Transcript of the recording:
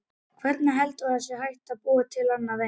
Hvernig heldurðu að hægt sé að búa til annað eins?